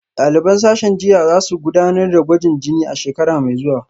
Daliban sashen jinya za su gudanar da gwajin jini a shekara mai zuwa